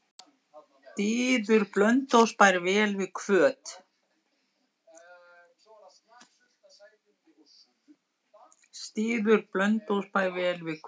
Styður Blönduósbær vel við Hvöt?